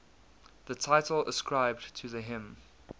the title ascribed to the hymn